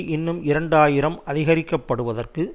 இன்னும் இரண்டு ஆயிரம் அதிகரிக்க படுவதற்கு